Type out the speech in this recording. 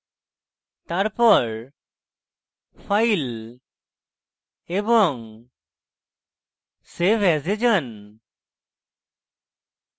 তারপর file এবং save as এ then